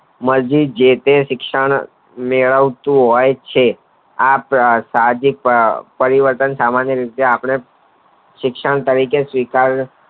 માટે જે શિક્ષા નો મેળવતું હોય છે આ પરિવર્તન સામાન્ય રીતે આપણે શિક્ષણ તરીકે શિવકારીયે